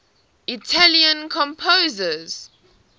italian composers